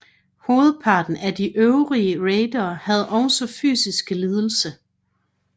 Hovedparten af de øvrige raidere havde også fysiske lidelser